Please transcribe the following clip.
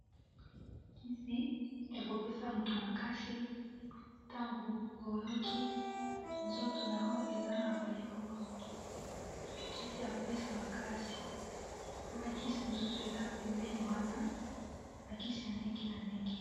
kisi ya kopesa moto makasi ntango oyoki nzoto na oyo eza na bolembo kisi ya kopesa makasi na bakisi mosusu eza pembeni wana bakisi ya ndenge na ndenge